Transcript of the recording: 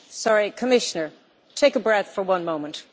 Sorry, Commissioner, please take a breath for one moment.